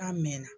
K'a mɛn